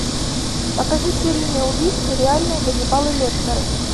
покажи серийные убийцы реальные ганнибалы лектеры